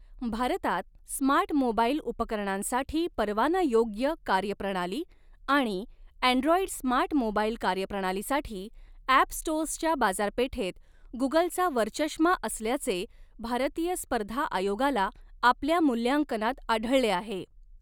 भारतात smart mobile उपकरणांसाठी परवानायोग्य कार्य प्रणाली आणि ॲंड्रॉइड स्मार्ट मोबाइल कार्य प्रणालीसाठी ॲप स्टोअर्सच्या बाजारपेठेत गुगलचा वरचष्मा असल्याचे भारतीय स्पर्धा आयोगाला आपल्या मूल्यांकनात आढळले आहे.